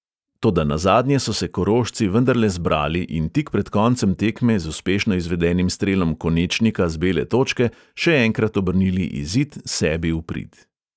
Toda nazadnje so se korošci vendarle zbrali in tik pred koncem tekme z uspešno izvedenim strelom konečnika z bele točke še enkrat obrnili izid sebi v prid.